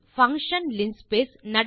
function linspace